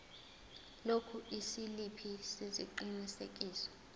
lokhu isiliphi sesiqinisekiso